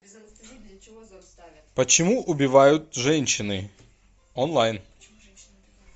почему убивают женщины онлайн